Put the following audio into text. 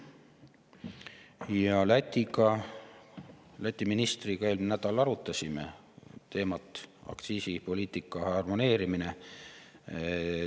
Ja Läti ministriga me eelmisel nädalal arutasime aktsiisipoliitika harmoneerimise teemat.